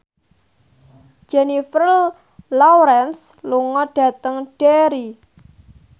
Jennifer Lawrence lunga dhateng Derry